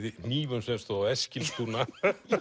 hnífum sem stóð á Eskilstuna